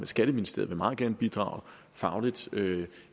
skatteministeriet meget gerne vil bidrage fagligt